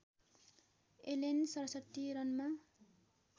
Alan ६७ रनमा